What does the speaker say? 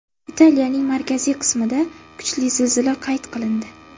Italiyaning markaziy qismida kuchli zilzila qayd qilindi.